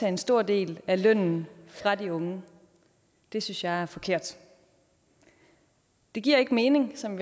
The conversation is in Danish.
en stor del af lønnen fra de unge det synes jeg er forkert det giver ikke mening som